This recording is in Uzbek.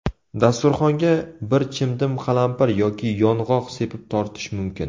Dasturxonga bir chimdim qalampir yoki yong‘oq sepib tortish mumkin.